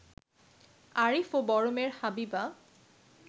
আরিফ ও বড় মেয়ে হাবিবা